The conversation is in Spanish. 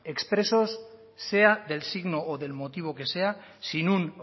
ex preso sea del signo o del motivo que sea sin un